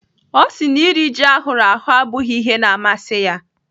Ọ sị na iri ji ahụrụ ahụ abụghị ihe na-amasị ya.